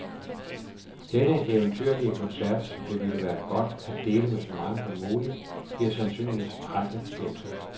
Denne eventyrlige koncert, som det ville være godt at dele med så mange som muligt, bliver sandsynligvis aldrig gentaget.